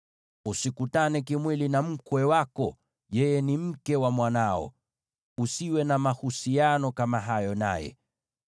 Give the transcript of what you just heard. “ ‘Usikutane kimwili na mkwe wako, yeye ni mke wa mwanao; usiwe na mahusiano kama hayo naye.